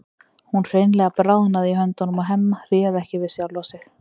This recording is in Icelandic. Hún hreinlega bráðnaði í höndunum á Hemma, réð ekki við sjálfa sig.